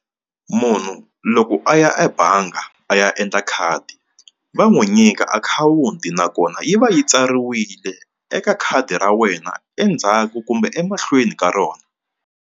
Munhu loko a ya ebangi a ya endla khadi va n'wi nyika akhawunti nakona yi va yi tsariwile eka khadi ra wena endzhaku kumbe emahlweni ka rona.